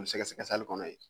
U bɛ sɛgɛsɛgɛ kɔnɔ yen